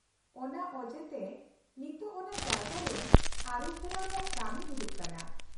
-ᱚᱱᱟ ᱚᱡᱮ ᱛᱮ ᱱᱤᱛᱳᱜ ᱚᱱᱟ ᱡᱟᱭᱜᱟ ᱨᱮ ᱟᱹᱨᱩᱯᱷᱮᱨᱟᱣ ᱨᱮᱭᱟᱜ ᱠᱟᱹᱢᱤ ᱦᱩᱭᱩᱜ ᱠᱟᱱᱟ ᱾